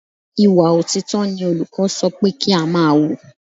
Ìwà òtítọ́ ni olùkọ́ sọ pé kí á máa wù.